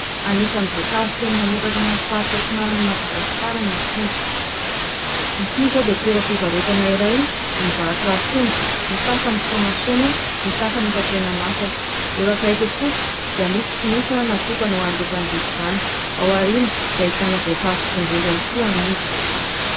Anisan'ny voankazo tena mamokatra any amin'ny faritra antsinanan'i Madagasikara ny akondro. Ity izao dia toeram-pivarotana iray mivarotra akondro; ny sasany somasoma, ny sasany efa tena masaka. Eo akaiky kosa dia misy fonosana natokana ho an'ireo mpanjifa izany. Ao aoriana dia ahitana voatavo sy tongolo ihany koa amidy.